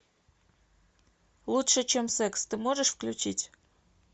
лучше чем секс ты можешь включить